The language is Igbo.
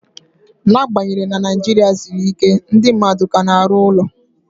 N'agbanyeghị na Naijiria siri ike, ndị mmadụ ka na-arụ ụlọ